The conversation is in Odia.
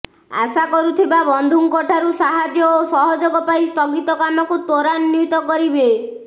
ଆଶା କରୁଥିବା ବନ୍ଧୁଙ୍କ ଠାରୁ ସାହାଯ୍ୟ ଓ ସହଯୋଗ ପାଇ ସ୍ଥଗିତ କାମକୁ ତ୍ୱରାନ୍ବିତ କରିବେ